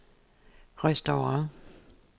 restaurant